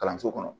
Kalanso kɔnɔ